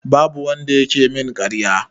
Babu wanda yake min ƙarya.